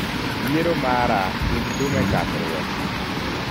yiero mara tug thum e chakruok